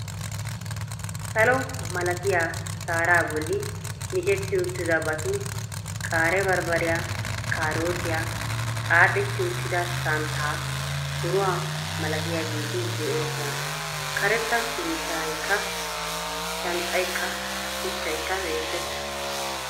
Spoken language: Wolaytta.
Salo malatiya sharaa bolli micceti uttidabati qaaree barbbariya, kaarootiyaa, xaaxxeti uttida danttaanne donnuwa malatiyageeti de'oosona karetta biittaykka shanxxaykka shuchchaykka beettees,